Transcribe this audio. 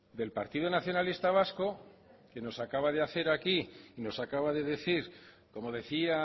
del partido nacionalista vasco que nos acaba de hacer aquí y nos acaba de decir como decía